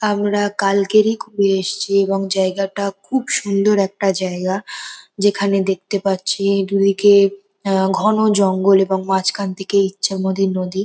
আমরা কালকেরেই ঘুরে এসছি এবং জায়গাটা খুব সুন্দর একটা জায়গা যেখানে দেখতে পাচ্ছি দুদিকে আহ ঘন জঙ্গল এবং মাঝখান থেকে ইচ্ছামতী নদী।